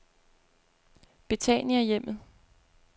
Betaniahjemmet